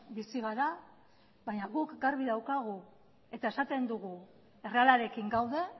bizi gara baina guk garbi daukagu eta esaten dugu errealarekin gaude